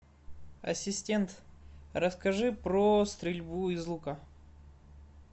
ассистент расскажи про стрельбу из лука